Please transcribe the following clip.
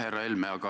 Härra Helme!